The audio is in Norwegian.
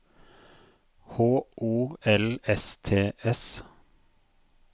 H O L S T S